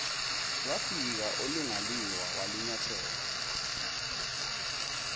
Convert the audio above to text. lwafika olingaliwa wanyathela